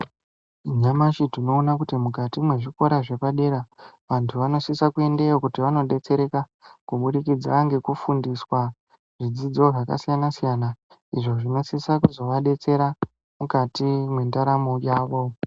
Nyamashi tinoona kuti mukati mwezvikora zvepadera ,antu anosise kuendeyo kuti anodetsereka kubudikidza ngekufundiswa, zvidzidzo zvakasiyana-siyana ,izvo zvinosisa kuzovadetsera, mukati mwendaramo yavo.